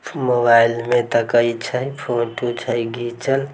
mobile में देखे छै फोटो छै घिचल --